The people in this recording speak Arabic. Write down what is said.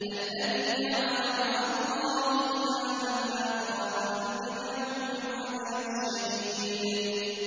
الَّذِي جَعَلَ مَعَ اللَّهِ إِلَٰهًا آخَرَ فَأَلْقِيَاهُ فِي الْعَذَابِ الشَّدِيدِ